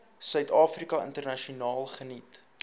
suidafrika internasionaal geniet